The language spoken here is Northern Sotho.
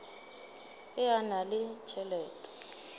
ge a na le tšhelete